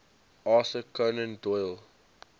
arthur conan doyle